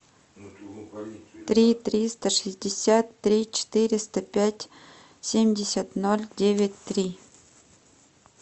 три триста шестьдесят три четыреста пять семьдесят ноль девять три